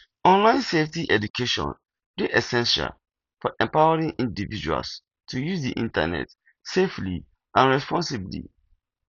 online safety education dey essential for empowering individuals to use di internet safely and responsibly